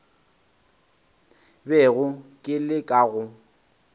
bego ke le ka go